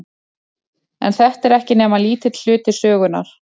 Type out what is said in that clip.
En þetta er ekki nema lítill hluti sögunnar.